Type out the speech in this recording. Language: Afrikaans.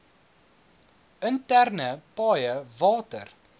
interne paaie water